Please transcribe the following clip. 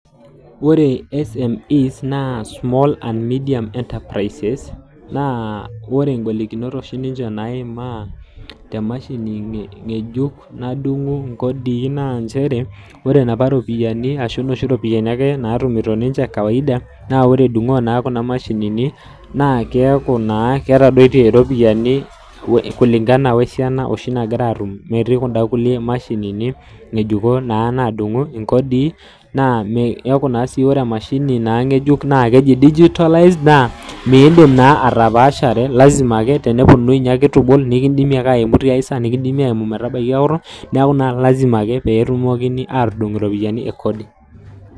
Wore SME's naa small and medium enterprises, naa wore igolikinot oshi ninche naimaa temashini ngejuk nadungu inkodii naa nchere. Wore inapa ropiyiani ashu inoshi ropiyani ake naatumito ninche kawaida, naa wore edungoo naa kuna mashinini, naa keaku naa ketadotie iropiyani kulingana wesiana oshi nakira aatumie, metii kunda kulie mashinini nyejukon naa naadungu inkodii, naa keaku naa sii wore emashini naa ngejuk naa keji digitalize naa meedim naa atapaashare lazima ake teneponunui ninye ake itu ibol nikindimi ake aimu tiai saa nikindimi aimu metabaiki okutuk. Neeku naa lazima ake pee etumokini aatudung iropiyani e kodi.